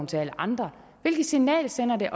til alle andre hvilket signal sender det